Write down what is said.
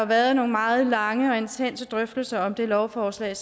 været nogle meget lange og intense drøftelser om det lovforslag